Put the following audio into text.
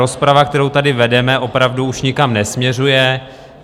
Rozprava, kterou tady vedeme, opravdu už nikam nesměřuje.